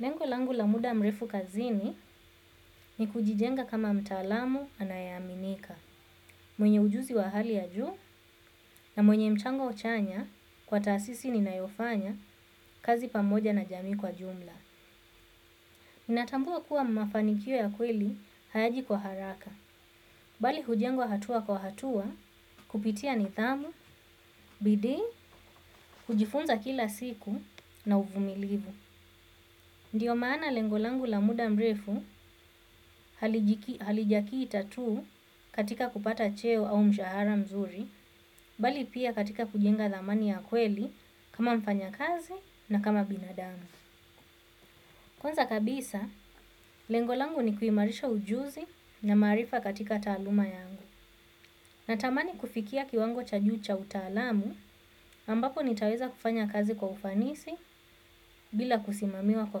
Lengolangu la muda mrefu kazini ni kujijenga kama mtaalamu anayaminika, mwenye ujuzi wa hali ya juu na mwenye mchango chanya kwa tasisi ninayofanya kazi pamoja na jami kwa jumla. Minatambua kuwa mafanikio ya kweli hayaji kwa haraka, bali hujengwa hatua kwa hatua, kupitia nithamu, bidi, kujifunza kila siku na uvumilivu. Ndiyo maana lengolangu la muda mrefu halijakii ta tuu katika kupata cheo au mshahara mzuri, bali pia katika kujenga dhamani ya kweli kama mfanya kazi na kama binadamu. Kwanza kabisa lengo langu ni kuimarisha ujuzi na marifa katika taaluma yangu. Na tamani kufikia kiwango cha juu cha utalamu ambapo nitaweza kufanya kazi kwa ufanisi bila kusimamiwa kwa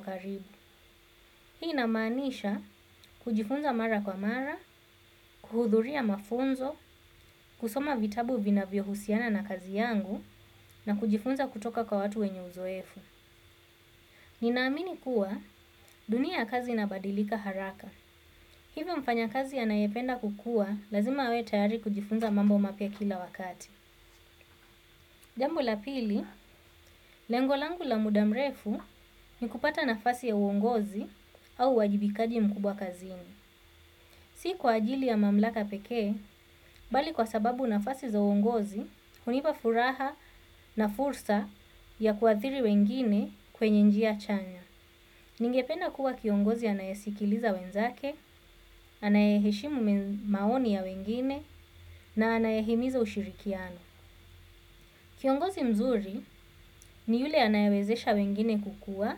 karibu. Hii namanisha kujifunza mara kwa mara, kuhudhuria mafunzo, kusoma vitabu vina vio husiana na kazi yangu na kujifunza kutoka kwa watu wenye uzoefu. Ninaamini kuwa dunia kazi inabadilika haraka. Hivyo mfanya kazi anayependa kukua lazima awetayari kujifunza mambo mapia kila wakati. Jambu la pili, lengolangu la mudamrefu ni kupata nafasi ya uongozi au uwajibikaji mkubwa kazini. Si kwa ajili ya mamlaka pekee, bali kwa sababu nafasi za uongozi, unipa furaha na fursa ya kuathiri wengine kwenye njia chanya. Ningependa kuwa kiongozi anayasikiliza wenzake, anayaheshimu maoni ya wengine, na anayahimiza ushirikiano. Kiongozi mzuri ni yule anayawezesha wengine kukua,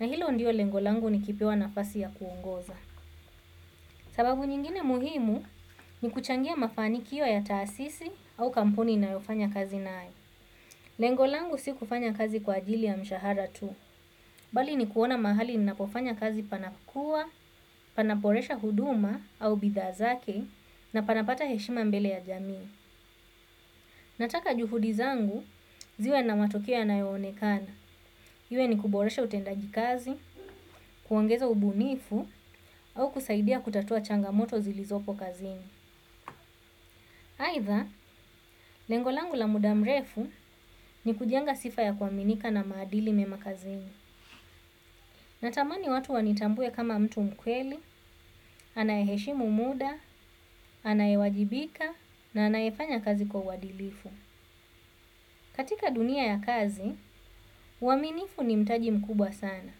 na hilo ndio lengolangu ni kipewa nafasi ya kuongoza. Sababu nyingine muhimu ni kuchangia mafani kiyo ya taasisi au kampuni ninayofanya kazi na hai. Lengolangu si kufanya kazi kwa ajili ya mshahara tu. Bali ni kuona mahali ninapofanya kazi panakua, panaporesha huduma au bidhazake na panapata heshima mbele ya jamii. Nataka juhudizangu ziwe na matokeo yana yoonekana. Iwe ni kuboresha utendaji kazi, kuangeza ubunifu au kusaidia kutatua changamoto zilizopo kazini. Haitha, lengolangu la mudamrefu ni kujenga sifa ya kwaminika na maadili memakazini. Natamani watu wanitambue kama mtu mkweli, anayeshimu muda, anayewajibika, na anayefanya kazi kwa wadilifu. Katika dunia ya kazi, waminifu ni mtaji mkubwa sana.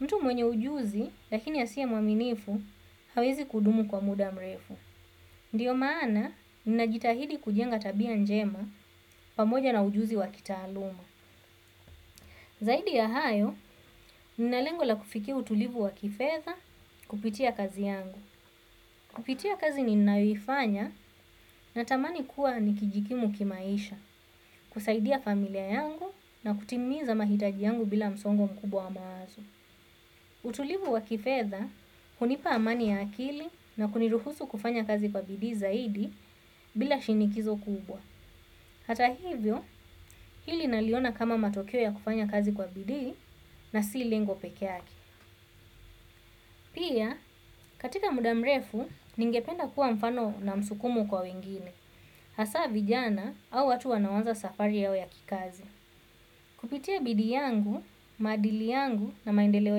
Mtu mwenye ujuzi, lakini asiye mwaminifu, hawezi kudumu kwa mudamrefu. Ndiyo maana, ninajitahidi kujenga tabia njema pamoja na ujuzi wa kitaaluma. Zaidi ya hayo, ninalengo la kufikia utulivu wa kifedha kupitia kazi yangu. Kupitia kazi ni naifanya na tamani kuwa nikijikimu kimaisha, kusaidia familia yangu na kutimiza mahitaji yangu bila msongo mkubwa mawazo. Utulivu wa kifedha, kunipa amani ya akili na kuniruhusu kufanya kazi kwa bidi zaidi bila shinikizo kubwa. Hata hivyo, hili naliona kama matokeo ya kufanya kazi kwa bidi na si lengo peke yake. Pia, katika muda mrefu, ningependa kuwa mfano na msukumo kwa wengine, hasa vijana au watu wanawanza safari yao ya kikazi. Kupitia bidii yangu madili yangu na maendeleo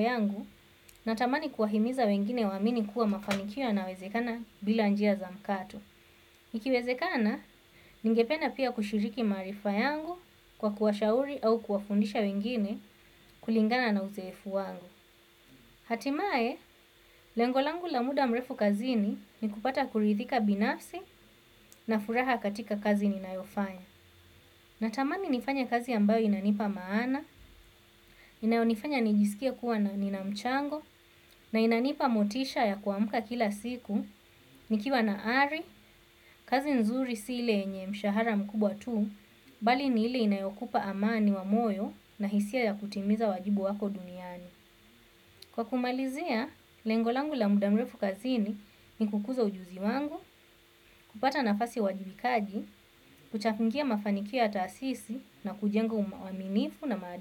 yangu natamani kuwahimiza wengine wamini kuwa mafaniko yanawezekana bila njia za mkato. Ikiwezekana, ningependa pia kushiriki marifa yangu kwa kuashauri au kuafundisha wengine kulingana na uzefu wangu. Hatimae, lengolangu la muda mrefu kazini ni kupata kurithika binafsi na furaha katika kazi ninayofanya. Natamani nifanya kazi ambayo inanipa maana, inayonifanya nijisikia kuwa na ninamchango, na inanipa motisha ya kuamuka kila siku, nikiwa na ari, kazi nzuri sile enye mshahara mkubwa tu, bali nili inayokupa amani wa moyo na hisia ya kutimiza wajibu wako dunia. Kwa kumalizia, lengolangu la mudamrefu kazini ni kukuza ujuzi wangu, kupata nafasi uwajibikaji, kuchafingia mafanikio ya tasisi na kujenga umaminifu na madu.